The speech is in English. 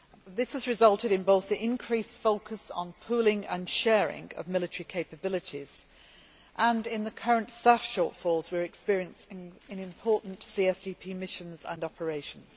This has resulted in both the increased focus on pooling and sharing of military capabilities and in the current staff shortfalls we are experiencing in important CSDP missions and operations.